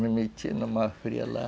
Me meti numa fria lá.